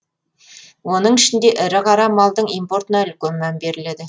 оның ішінде ірі қара малдың импортына үлкен мән беріледі